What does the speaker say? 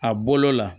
A bolo la